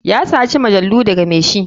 Ya saci majalu daga mai shi.